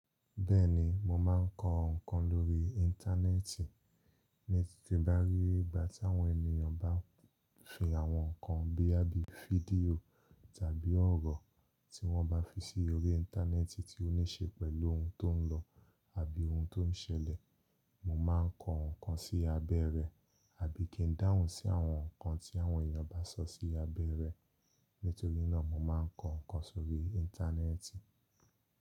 Bẹ́ẹ̀ni, mo máa ń kọ nǹkan lórí íńtánẹ́ẹ̀tì. Ní tí tí bá rí ìgbà tí àwọn ènìyàn bá fi àwọn nǹkan boya bií fídíò tàbí ọ̀rọ̀ tí wọ́n bá fi sí orí íńtánẹ́ẹ̀tì tí ó ní ṣe pẹ̀lú ohun tó ń lọ, àbí ohun tó ń ṣẹlẹ̀, mo máa ń kọ nǹkan sí abẹ́ rẹ̀, àbí kí ń dáhùn sí àwọn nǹkan tí àwọn èeyàn bá sọ sí abeẹ́ rẹ̀. Nítoríná, mo máa ń kọ nǹkan sórí íńtánẹ́ẹ̀tì.